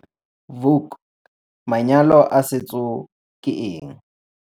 Vuk - Manyalo a setso ke eng?